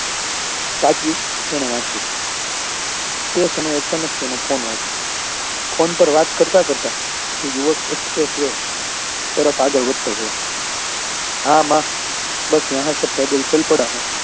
તાક્યું તેને વાંચ્યું તે સમયે અચાનક તેનો ફોન વાગ્યો ફોન પર વાત કરતા કરતા તે યુવક express way તરફ આગળ વધતો રહ્યો હા માં બસ યહાં સે પૈદલ ચાલતા રહા હું